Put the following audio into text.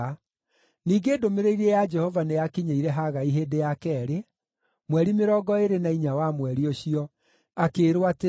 Ningĩ ndũmĩrĩri ya Jehova nĩyakinyĩire Hagai hĩndĩ ya keerĩ, mweri mĩrongo ĩĩrĩ na inya wa mweri ũcio, akĩĩrwo atĩrĩ,